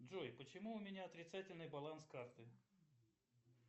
джой почему у меня отрицательный баланс карты